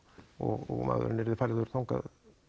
og maðurinn yrði færður þangað